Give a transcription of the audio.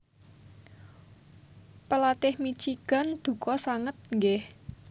Pelatih Michigan duka sanget nggih